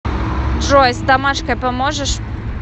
джой с домашкой поможешь